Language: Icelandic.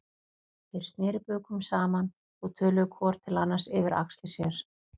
Þeir sneru bökum saman og töluðu hvor til annars yfir axlir sér.